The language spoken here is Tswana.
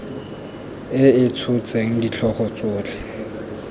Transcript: e e tshotseng ditlhogo tsotlhe